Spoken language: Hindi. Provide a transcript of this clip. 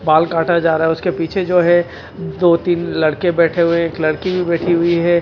बाल काटा जा रहा है उसके पीछे जो है दो तीन लड़के बैठे हुए एक लड़की भी बैठी हुई है।